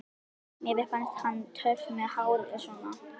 Mér finnst hann töff með hárið svona!